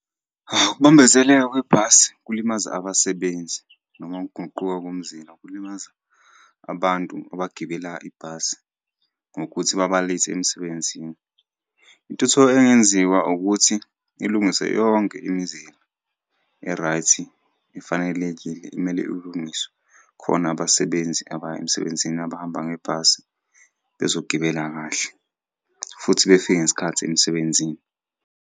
Ukubambezeleka kwebhasi kulimaza abasebenzi noma ukuguquka komzila kulimaza abantu abagibela ibhasi ngokuthi baba-late emsebenzini. Intuthuko engenziwa ukuthi ilungiswe yonke imizila e-right, efanelekile kumele ilungise khona abasebenzi abaya emsebenzini abahamba ngebhasi bezogibela kahle, futhi befike ngesikhathi emsebenzini.